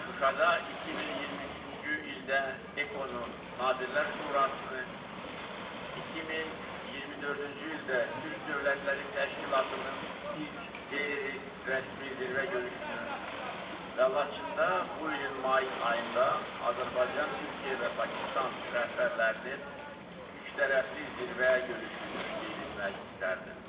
Şuşada 2023-cü ildə EKO-nun Nazirlər Şurasını, 2024-cü ildə Türk Dövlətləri Təşkilatının ilk qeyri-rəsmi zirvə görüşünü və Laçında bu ilin may ayında Azərbaycan, Türkiyə və Pakistan rəhbərlərinin üçtərəfli zirvə görüşünü qeyd etmək istərdim.